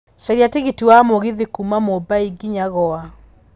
caria tigiti wa mũgithi kuuma mumbai nginya goa